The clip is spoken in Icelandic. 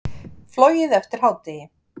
Flogið eftir hádegi